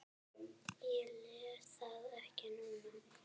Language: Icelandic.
Ég les það ekki núna.